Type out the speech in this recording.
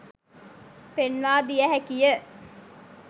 පෙන්වා දිය හැකි ය.